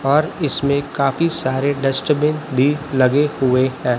और इसमें काफी सारे डस्टबीन भी लगे हुए है।